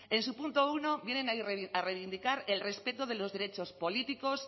en su punto uno vienen a reivindicar el respeto de los derechos políticos